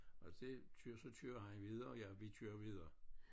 Og det kører så kører han videre og jeg vi kører videre